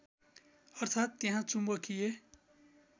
अर्थात् त्यहाँ चुम्बकीय